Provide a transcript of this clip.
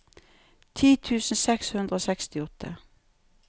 ti tusen seks hundre og sekstiåtte